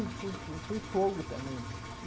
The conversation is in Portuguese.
Eu fui fui fogo também.